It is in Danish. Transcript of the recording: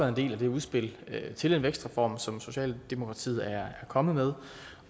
en del af det udspil til en vækstreform som socialdemokratiet er kommet med